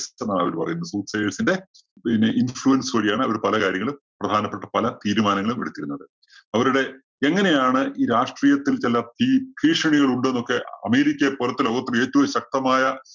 അവര് പറയുന്നത്. ന്റെ പിന്നെ influence വഴിയാണ് അവര് പല കാര്യങ്ങളും, പ്രധാനപ്പെട്ട പല തീരുമാനങ്ങളും എടുത്തിരുന്നത്. അവരുടെ എങ്ങനെയാണ് ഈ രാഷ്ട്രീയത്തില്‍ ചില ഭീ~ഭീഷണികൾ ഉണ്ടെന്നൊക്കെ അമേരിക്കയെ പോലത്തെ ലോകത്തിലെ ഏറ്റവും ശക്തമായ